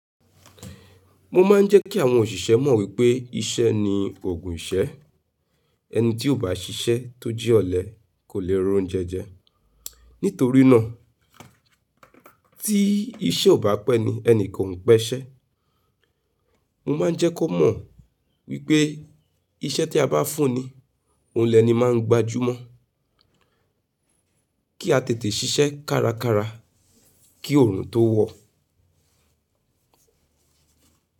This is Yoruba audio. Mo máa ń jẹ́ kí àwọn òṣìṣẹ́ mọ̀ wípé iṣẹ́ ni ògùn ìṣẹ́. Ẹni tí ò bá ṣiṣẹ́ tó jẹ ọ̀lẹ kò le roúnjẹ jẹ. Nítorí ná tí iṣẹ́ ò bá pé ni ẹnìkan ò ń pe iṣẹ́. Mo máa ń jẹ́ kó mọ̀ wípé iṣẹ́ tí a bá fún ni òun lẹni máa ń gbajú mọ̀ kí a tètè ṣiṣẹ́ kárakára kí òrun tó wọ.